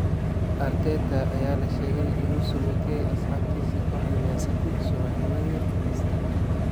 Arteta ayaa la sheegay inuu sagootiyay asxaabtiisa kooxda Man City subaxnimadii Khamiista.